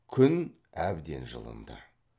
күн әбден жылынды